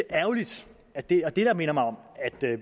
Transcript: er ærgerligt og det er det der minder mig om